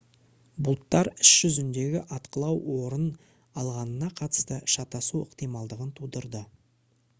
бұлттар іс жүзіндегі атқылау орын алғанына қатысты шатасу ықтималдығын тудырды